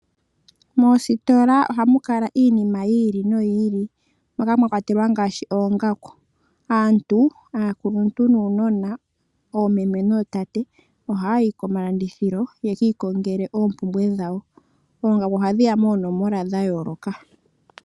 Moositola ohamu kala iinima yi ili noyi ili, moka mwa kwatelwa oongaku. Aantu, aakuluntu nuunona, oomeme nootate, ohayayi koositola yekii kongele iinima yawo. Oongaku ohadhiya moonomola dhayooloka.